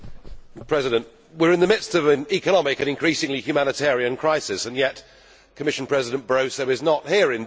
Mr President, we are in the midst of an economic and increasingly humanitarian crisis and yet Commission President Barroso is not here.